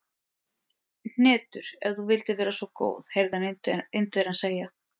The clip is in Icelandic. Hnetur, ef þú vildir vera svo góð heyrði hann Indverjann segja.